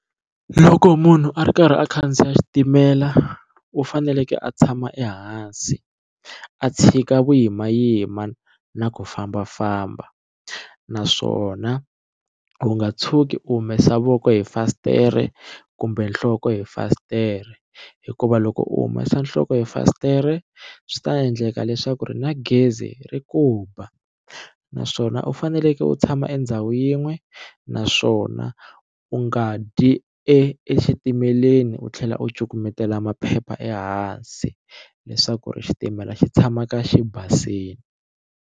Loko munhu a ri karhi a khandziya xitimela u faneleke a tshama ehansi a tshika vuyimayima na ku fambafamba naswona u nga tshuki u humesa voko hi fasitere kumbe nhloko hi fasitere hikuva loko u humesa nhloko hi fasitere swi ta endleka leswaku ri na gezi ri ku ba naswona u faneleke u tshama endhawu yin'we naswona u nga dyi exitimeleni u tlhela u cukumetela maphepha ehansi leswaku ri xitimela xi tshamaka xi basile.